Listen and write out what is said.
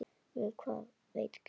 Um það veit Grímur ekkert.